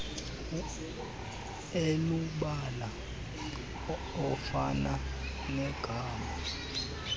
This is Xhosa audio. elubala ofana negama